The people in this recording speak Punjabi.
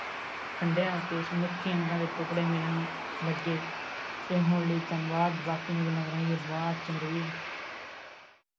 ਟੁਕੜੇ ਮਿਲਨ ਲਗੇ ਤੇ ਹੁਣ ਲਈ ਧੰਨਵਾਦ ਬਾਕੀ ਦੀਆ ਗੱਲਾਂ ਕਰਾਂਗੇ ਬਾਅਦ ਚ ਮੇਰੇ ਵੀਰ